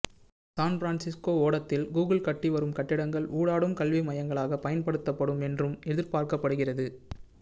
San Francisco ஓடத்தில் Google கட்டி வரும் கட்டிங்கள் ஊடாடும் கல்வி மையங்களாக பயன்படுத்தப்படும் என்றும் எதிர்பார்க்கப்படுகிறது